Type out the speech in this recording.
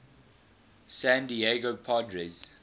san diego padres